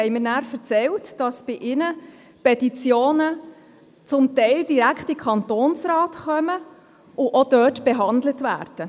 Diese haben mir erzählt, dass bei ihnen Petitionen teilweise direkt in den Kantonsrat gelangen und auch dort behandelt werden.